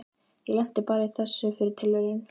Ég lenti bara í þessu fyrir tilviljun.